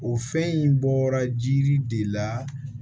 O fɛn in bɔra jiri de la